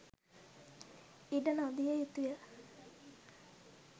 ඉඩ නො දිය යුතුය.